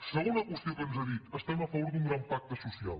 segona qüestió que ens ha dit estem a favor d’un gran pacte social